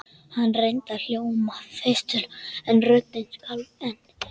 Hann reyndi að hljóma festulega en röddin skalf enn.